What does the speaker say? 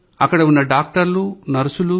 అక్కడ ఉన్న డాక్టర్లు నర్సులు